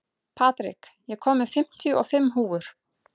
Patrik, ég kom með fimmtíu og fimm húfur!